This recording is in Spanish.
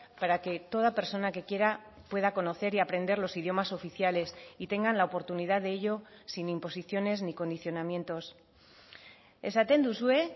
para que toda persona que quiera pueda conocer y aprender los idiomas oficiales y tengan la oportunidad de ello sin imposiciones ni condicionamientos esaten duzue